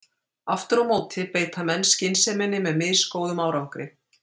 Aftur á móti beita menn skynseminni með misgóðum árangri.